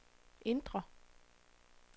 indre